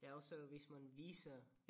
Det også hvis man viser